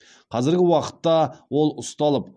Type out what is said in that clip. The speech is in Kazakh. қазіргі уақытта ол ұсталып